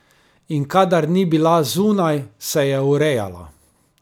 In kadar ni bila zunaj, se je urejala.